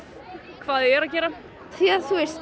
hvað þau eru að gera því